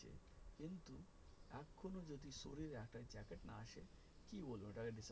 শরীর এটা জ্যাকেট না আসে কী বলবো